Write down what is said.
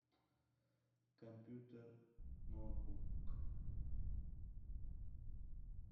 компьютер ноутбук